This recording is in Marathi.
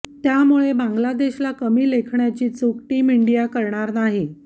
त्यामुळे बांग्लादेशला कमी लेखण्याची चूक टीम इंडिया करणार नाही